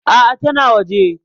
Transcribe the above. A'a tana waje.